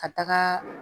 Ka taga